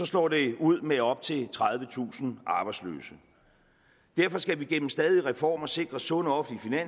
slår det ud med op til tredivetusind arbejdsløse derfor skal vi gennem stadige reformer sikre sunde offentlige